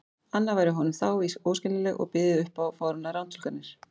anna væri honum þá í raun óskiljanleg og byði upp á fáránlegar rangtúlkanir.